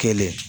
Kelen